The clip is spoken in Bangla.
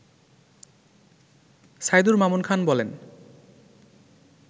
সাইদুর মামুন খান বলেন